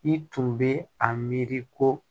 I tun bɛ a miiri ko